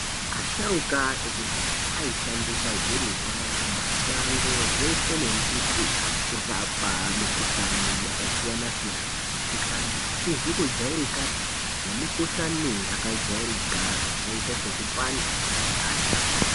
Asharuka akudhaya aishandisa zvirimwa mashango zveeshe mashakani zveshe nembiti kurapa mikhuhlani yakasiyana-siyana, kurapa mikhuhlani isizi kujairikapi ,nemikhuhlani yakajairika ,yakaita sekupanda kwemundani .